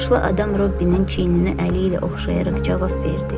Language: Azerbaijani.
Yaşlı adam Robbinin çiynini əli ilə oxşayaraq cavab verdi.